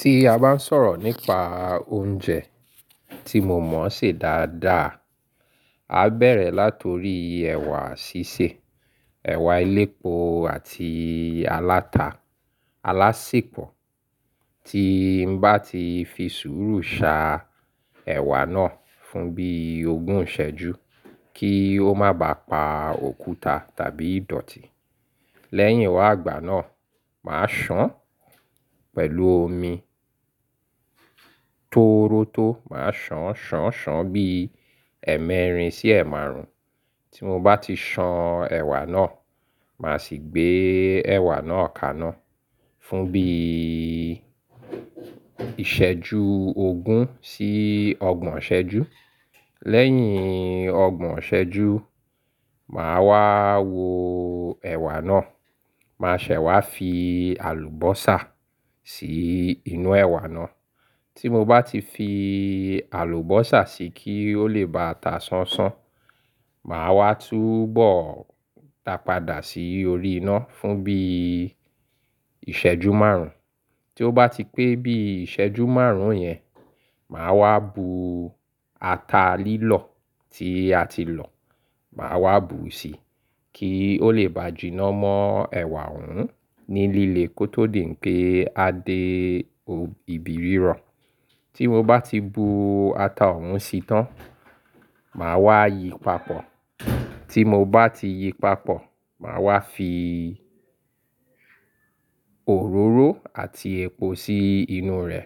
Tí a bá ń sọ̀rọ̀ nípa oúnjẹ tí mo mọ̀ ṣe dáadáa, a bẹ̀rẹ̀ láti orí ẹ̀wà sísè, ẹ̀wà elépo àti aláta alásèpọ̀. Tí n bá ti fi sùúrù sa ẹ̀wà náà fún bí ogún ìṣẹ́jú kí ó má bá pa òkúta tàbí ìdọ̀tí. Lẹ́yìn wá igbà náà, màá sàn pẹ̀lú omi tórótó. Màá sàn, sàn, sàn bí ẹ́ẹ̀mẹ́rin sí ẹ́ẹ̀ márùn-ún. Tí mo bá ti san ẹ̀wà náà, màá sì gbé ẹ̀wà náà kaná fún bí ìṣẹ́jú ogún sí ọgbọ̀n ìṣẹ́jú. Lẹ́yìn ọgbọ̀n ìṣẹ́jú, màá wá wo ẹ̀wà náà. Màá ṣẹ̀ wá fi àlùbọ́sà sí inú ẹ̀wà náà. Tí mo bá ti fi àlùbọ́sà sí i kí ó lè bá a ta sánṣán, màá wá túbọ̀̀ dàpadà sí orí iná fún bí ìṣẹ́jú márùn-ún. Tí ó bá ti pé bí ìṣẹ́jú márùn-ún yẹn, màá wá bu ata lílọ̀ tí a ti lọ̀, màá wá bu sí i kí ó lè bá jìnà mọ́ ẹ̀wà òún ní líle kó tó dì n pé a dé ibi rírọ̀. Tí mo bá ti bu ata òún sí i tán, màá wá yí papọ̀. Tí mo bá ti yí papọ̀, màá wá fi òróró àti epo sí inú rẹ̀.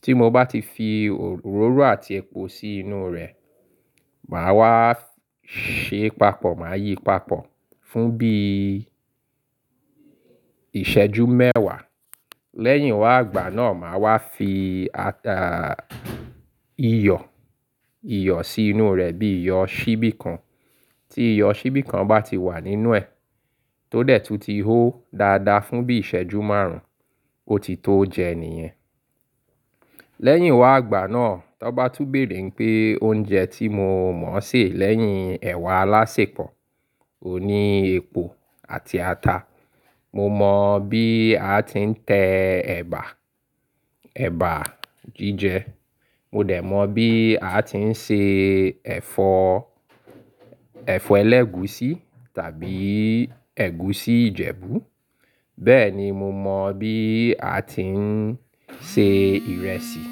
Tí mo bá ti fi òróró àti epo sí inú rẹ̀, màá wá ṣe papọ̀. Màá yí papọ̀ fún bí ìṣẹ́jú mẹ́wàá. Lẹ́yìn wá ìgbà náà, màá wá fi ata iyọ̀, iyọ̀ sí inú rẹ̀ bí iyọ̀ ṣíbí kan. Tí iyọ̀ ṣíbí kan bá ti wà nínú ẹ̀, tó dẹ̀ tún ti hó dáadáa fún bí ìṣẹ́jú márùn-ún, ó ti tó jẹ níyẹn. Lẹ́yìn wá ìgbà náà, tó bá tún bèèrè pé oúnjẹ tí mo mọ̀ ṣè lẹ́yìn ẹ̀wà alásèpọ̀, òní epo àti ata. Mo mọ bí a ti ń tẹ ẹ̀bà, ẹ̀bà jíjẹ. Mo dẹ̀ mọ bí a ti ń ṣe ẹ̀fọ́, ẹ̀fọ́ ẹlẹ́gúsí tàbí ẹ̀gúsí Ìjẹ̀bú. Bẹ́ẹ̀ ni mo mọ bí a ti ń ṣe ìrẹsì.